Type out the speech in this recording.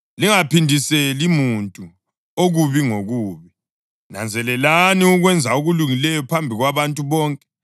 Lingaphindiseli muntu okubi ngokubi. Nanzelelani ukwenza okulungileyo phambi kwabantu bonke.